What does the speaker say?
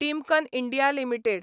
Timken India limited